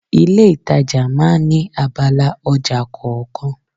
Ilé itàjà máa ń ní abala ọjà kọ̀ọ̀kan.